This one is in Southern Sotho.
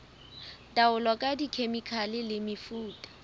taolo ka dikhemikhale le mefuta